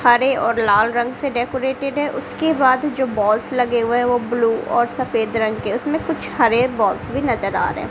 हरे और लाल रंग से डेकोरेटेड है उसके बाद जो बॉल्स लगे हुए हैं वो ब्लू और सफेद रंग के उसमें कुछ हरे बॉल्स भी नजर आ रहे हैं।